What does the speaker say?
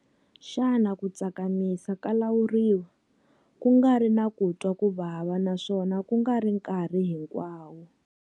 Xana ku tsakimisa ka lawuriwa, ku nga ri na ku twa ku vava naswona ku nga ri nkarhi hinkwawo?